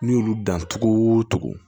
N'i y'olu dan togo togo